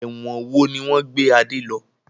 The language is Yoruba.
Ẹ̀wọ̀n wo ni wọn gbé Adé lọ?